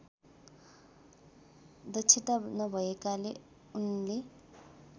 दक्षता नभएकाले उनले